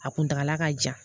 A kuntala ka jan